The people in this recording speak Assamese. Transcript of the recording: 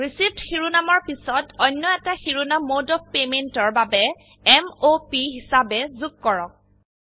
ৰিচিভড শিৰোনামৰ পিছত অন্য এটা শিৰোনাম মদে অফ পেমেণ্ট এৰ বাবে m o প হিচাবে যোগ কৰক